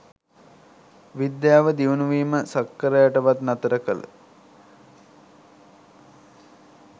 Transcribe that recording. විද්‍යාව දියුණු වීම සක්කරයාටවත් නතර කල